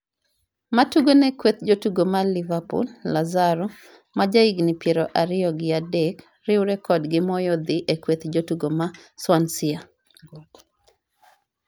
matugo ne kweth jotugo mar Liverpool, Lazaro , maja higni piero ariyo gi adek ,riwre kodgi moyo dhi e kweth jotugo ma Swansea